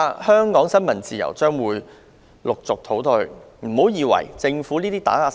香港新聞自由未來恐怕會持續倒退。